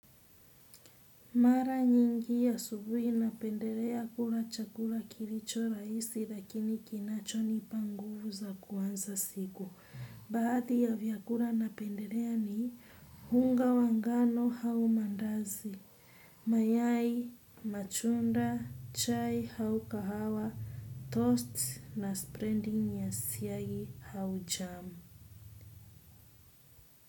Mara nyingi asubuhi napendelea kula chakula kilicho rahisi lakini kinachonipa nguvu za kuanza siku. Baadhi ya vyakula napendelea ni unga wa ngano au maandazi. Mayai, matunda, chai au kahawa, toast na spreading ya siagi au jam.